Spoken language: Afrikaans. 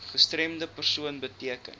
gestremde persoon beteken